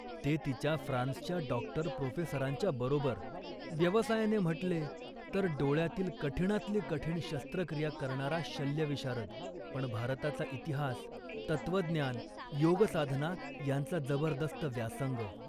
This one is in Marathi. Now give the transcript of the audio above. ते तिच्या फ्रान्सच्या डॉक्टर प्रोफेसरांच्या बरोबर. व्यवसायाने म्हटले तर डोळ्यातील कठिणातील कठीण शस्त्रक्रिया करणारा शल्यविशारद, पण भारताचा इतिहास, तत्त्वज्ञान, योगसाधना यांचा जबरदस्त व्यासंग